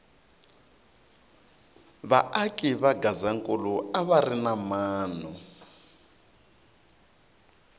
va aki va gazankula a va ri na mano